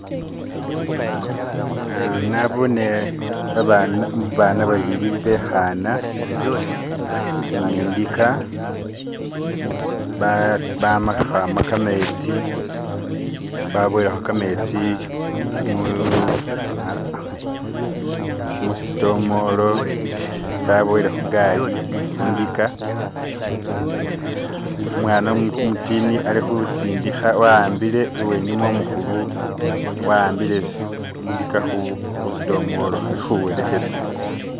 Uh Na'boone babana ba'bili be'khana ni ndika bamakhwama kametsi musidomolo baboyele khugali, khundika umwana umutini alikhusindikha, awambile uwenyuma umukhulu a'ambile indika khusidomolo ali khuwelekhesa